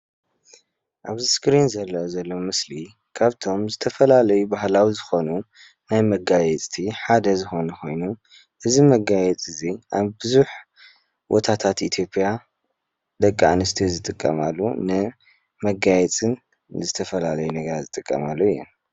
ኣብዚ ስክሪን ዝርአ ዘሎ ምስሊ ካብቶም ዝተፈላለዩ ባህላዊ ዝኾኑ ናይ መጋየፅቲ ሓደ ዝኾነ ኮይኑ እዚ መጋየፂ እዚ ኣብ ብዙሕ ቦታታት ኢትዮጵያ ደቂ ኣንስትዮ ዝጥቀማሉ ንመጋየፅን ዝተፈላለዩ ነገራት ዝጥቀማሉ እዩ።